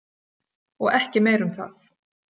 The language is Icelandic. Og ekki meira um það!